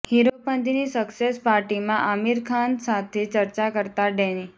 હીરોપંતીની success પાર્ટીમાં આમિર ખાન સાથે ચર્ચા કરતાં ડૅની